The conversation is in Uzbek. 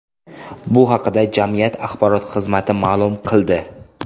Bu haqda jamiyat axborot xizmati ma’lum qildi .